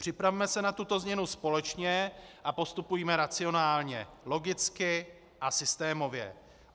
Připravme se na tuto změnu společně a postupujme racionálně, logicky a systémově.